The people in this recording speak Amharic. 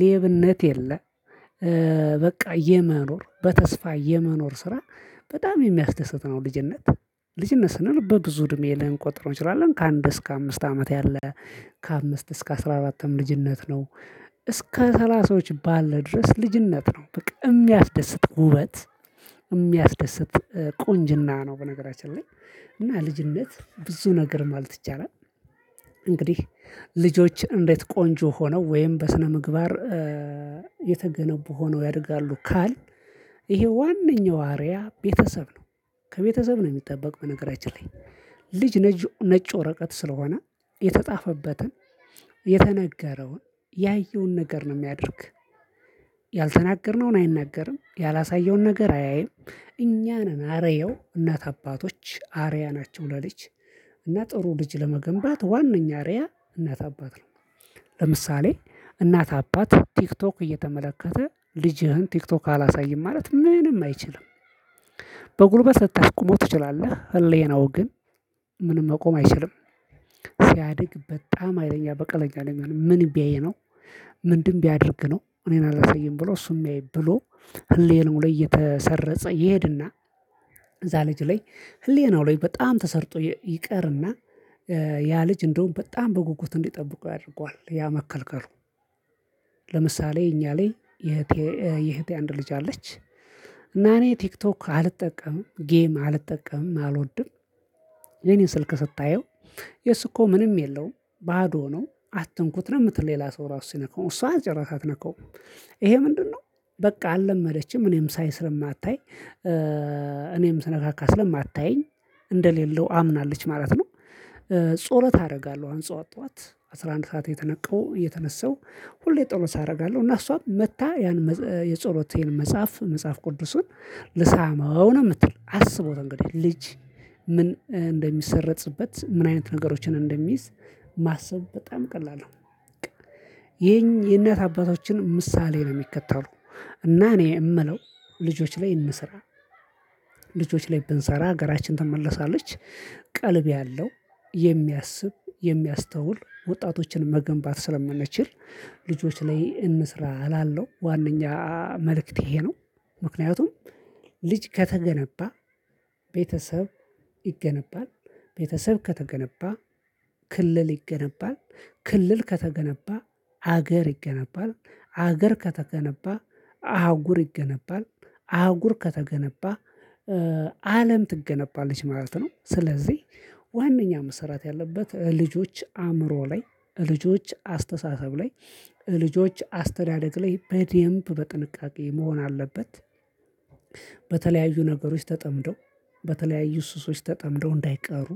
ሌብነት የለ። በቃ የመኖር በተስፋ የመኖር ስራ በጣም የሚያስደስት ነው። ልጅነት ልጅነት ስንል በብዙ እድሜ ልንቆጥረው እንችላለን ከአንድ እስከ አምስት አመት ያለ። ከአምስት እስከ አስራ አራትም ልጅነት ነው። እስከ ሰላሳዎች ባለ ድረስ ልጅነት ነው። በቃ የሚያስደስት ውበት የሚያስደስት ቁንጅና ነው። በነገራችን ላይ እና ልጅነት ብዙ ነገር ማለት ይቻላል። እንግዲህ ልጆች እንዴት ቆንጆ ሆነው ወይም በስነ ምግባር የተገነቡ ሆነው ያደርጋሉ ካልን። ይሄ ዋነኛው አርአያ ቤተሰብ ነው። ከቤተሰብ ነው የሚጠበቅ በነገራችን ላይ ልጅ ነዥ ነጭ ወረቀት ስለሆነ የተጻፈበትን የተነገረውን ያየውን ነገር ነው የሚያደርግ። ያልተናገርነውን አይናገርም ያላሳየውን ነገር አያይም። እኛ ነን አርየው እናት አባቶች አርአያ ናቸው ለልጅ። እና ጥሩ ልጅ ለመገንባት ዋናኛ አርአያ እናት አባት ነው። ለምሳሌ እናት አባት ቲክቶክ እየተመለከተ ልጅህን ቲክቶክ አላሳይም ማለት ምንም አይችልም። በጉልበት ልታስቆመው ትችላለህ ህሌናው ግን ምንም መቆም አይችልም። ሲያድግ በጣም ሀይለኛ በቀለኛ ነው የሚሆነው ምን ቢያይ ነው? ምንድን ቢያደርግ ነው እኔን አላሳይም ብሎ እሱን የሚያይ ብሎ ህሌናው ላይ እየተሰረጸ ይሄድና። እዛ ልጅ ላይ ህሊናው ላይ በጣም ተሰርጦ ይቀርና። ያ ልጅ እንደውም በጣም በጉጉት እንዲጠብቁ ያደርገዋል ያ መከልከሉ። ለምሳሌ እኛ ላይ የእህቴ የእህቴ አንድ ልጅ አለች። እና እኔ ቲክቶክ አልጠቀምም ጌም አልጠቀምም አልወድም። የኔን ስልክ ስታየው የሱ እኮ ምንም የለውም ባዶ ነው አትንኩት ነው የምትል ሌላ ሰው ራሱ ሲነካው እሷን ጭራሽ አትነካውም። ይሄ ምንድነው? በቃ አልለመደችም እኔም ሳይ ስለማታይ እኔም ስነካካ ስለማታየኝ እንደሌለው አምናለች ማለት ነው። ጾሎት አደርጋለሁ አሁን ጠዋት ጠዋት አስራ አንድ ሰዓት የተነቃው እየተነሳው ሁሌ ጠሎት አደርጋለሁ እና እሷም መጥታ ያን የጸሎቴን መጽሐፍ መጽሐፍ ቅዱሱን ልሳመው ነው የምትል አስቡት እንግዲህ ልጅ ምን እንደሚሰረጽበት ምን አይነት ነገሮችን እንደሚይዝ ማሰብ በጣም ቀላል ነው። የእናት አባቶችን ምሳሌ ነው የሚከተሉ። እና እኔ እምለው ልጆች ላይ እንስራ። ልጆች ላይ ብንሰራ ሀገራችን ትመለሳለች። ቀልብ ያለው የሚያስብ የሚያስተውል ወጣቶችን መገንባት ስለምንችል። ልጆች ላይ እንስራ እላሎው ዋነኛ መልእክቴ ይሄ ነው። ምክንያቱም ልጅ ከተገነባ ቤተሰብ ይገነባል ቤተሰብ ከተገነባ ክልል ይገነባል ክልል ከተገነባ ሀገር ይገነባል ሀገር ከተገነባ አህጉር ይገነባል አህጉር ከተገነባ አለም ትገነባለች ማለት ነው። ስለዚህ ዋነኛ መሰራት ያለበት ልጆች አእምሮ ላይ ልጆች አስተሳሰብ ላይ ልጆች አስተዳደግ ላይ በደንብ በጥንቃቄ መሆን አለበት። በተለያዩ ነገሮች ተጠምደው በተለያዩ ሱሶች ተጠምደው እንዳይቀሩ።